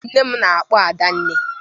Nne m na-akpọ Adanne.